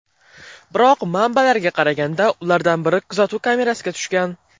Biroq, manbalarga qaraganda, ulardan biri kuzatuv kamerasiga tushgan.